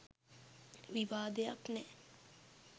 විවාදයක් නෑ.